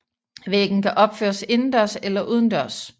Væggen kan opføres indendørs eller udendørs